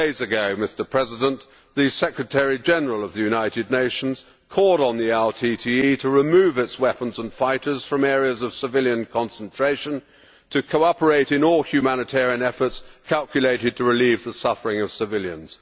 Six days ago, the Secretary General of the United Nations called on the LTTE to remove its weapons and fighters from areas of civilian concentration and to cooperate in all humanitarian efforts calculated to relieve the suffering of civilians.